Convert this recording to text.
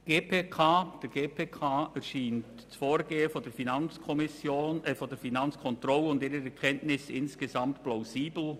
Der GPK erscheinen das Vorgehen der Finanzkontrolle sowie deren Erkenntnisse insgesamt plausibel.